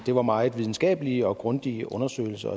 det var meget videnskabelige og grundige undersøgelser